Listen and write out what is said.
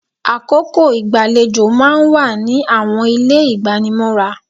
Àkókò igbalejo máa ń wà ní àwọn ilé igbanimọ́ra.